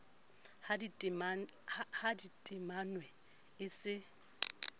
ha di timanwe e se